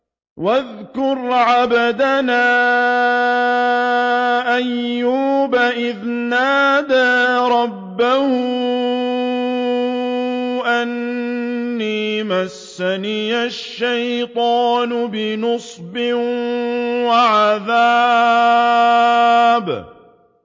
وَاذْكُرْ عَبْدَنَا أَيُّوبَ إِذْ نَادَىٰ رَبَّهُ أَنِّي مَسَّنِيَ الشَّيْطَانُ بِنُصْبٍ وَعَذَابٍ